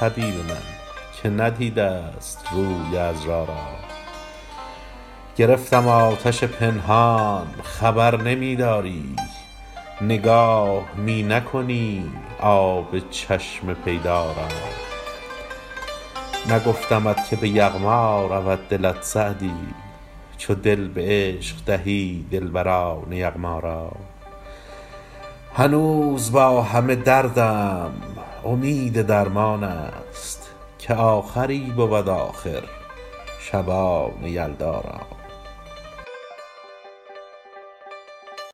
حبیب من که ندیده ست روی عذرا را گرفتم آتش پنهان خبر نمی داری نگاه می نکنی آب چشم پیدا را نگفتمت که به یغما رود دلت سعدی چو دل به عشق دهی دلبران یغما را هنوز با همه دردم امید درمان است که آخری بود آخر شبان یلدا را